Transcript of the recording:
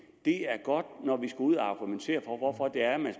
det er godt når vi skal ud at argumentere for hvorfor det er man